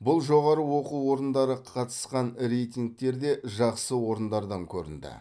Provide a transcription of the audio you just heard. бұл жоғары оқу орындары қатысқан рейтингтерде жақсы орындардан көрінді